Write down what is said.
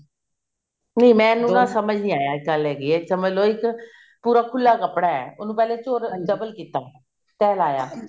ਨਹੀਂ ਮੈਨੂੰ ਨਾ ਸਮਝ ਨੀ ਆਇਆ ਗੱਲ ਹੈਗੀ ਹੈ ਸਮਝ ਲੋ ਇੱਕ ਪੂਰਾ ਖੁੱਲਾ ਕੱਪੜਾ ਹੈ ਉਹਨੂੰ ਪਹਿਲੇ double ਕੀਤਾ ਫੇਲਾਇਆ